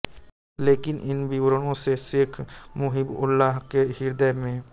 लेकिन इन विवरणों से शेख मुहिबउल्लाह के हृदय में